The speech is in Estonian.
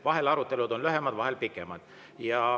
Vahel on arutelud lühemad, vahel pikemad.